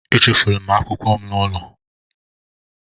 Echefuru m akwụkwọ m n'ụlọ